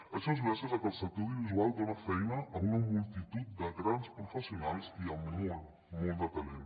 això és gràcies a que el sector audiovisual dona feina a una multitud de grans professionals i amb molt molt de talent